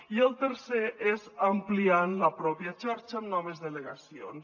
i el tercer és ampliant la pròpia xarxa amb noves delegacions